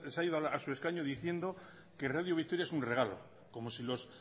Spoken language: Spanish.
ha ido a su escaño diciendo que radio vitoria es un regalo como si los